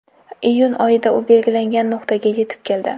Iyun oyida u belgilangan nuqtaga yetib keldi.